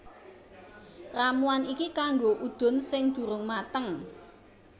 Ramuan iki kanggo udun sing durung mateng